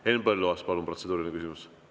Henn Põlluaas, palun, protseduuriline küsimus!